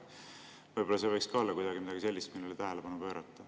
Võib‑olla see võiks olla midagi sellist, millele kuidagi tähelepanu pöörata.